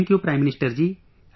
Thank you, Prime Minister ji